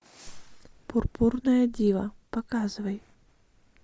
пурпурная дива показывай